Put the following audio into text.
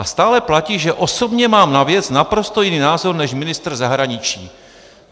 A stále platí, že osobně mám na věc naprosto jiný názor než ministr zahraničí.